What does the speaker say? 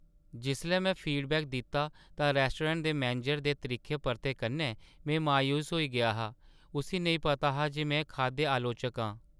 जिसलै में फीडबैक दित्ता तां रौस्टोरैंट दे मैनेजरै दे त्रिक्खे परते कन्नै में मायूस होई गेआ हा। उस्सी नेईं पता हा जे में खाद्य आलोचक आं।